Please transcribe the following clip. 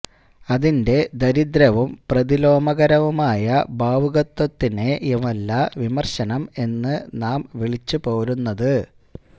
അതിന്റെ ദരിദ്രവും പ്രതിലോമകരവുമായ ഭാവുകത്വത്തിനെയുമല്ല വിമര്ശനം എന്ന് നാം വിളിച്ച് പോരുന്നത്